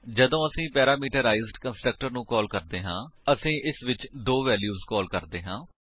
ਜਦੋਂ ਅਸੀ parameterized constructor ਨੂੰ ਕਾਲ ਕਰਦੇ ਹਾਂ ਅਸੀ ਇਸ ਵਿੱਚ ਦੋ ਵੈਲਿਊਜ ਕਾਲ ਕਰਦੇ ਹਾਂ